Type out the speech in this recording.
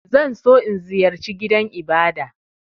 Zan so in ziyarce gidan Ibada.